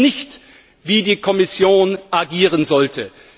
Das ist nicht, wie die Kommission agieren sollte!